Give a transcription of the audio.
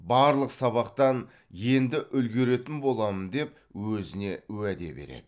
барлық сабақтан енді үлгеретін боламын деп өзіне уәде береді